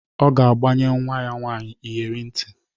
Ọ ga-agbanye nwa ya nwaanyị iyere ntị.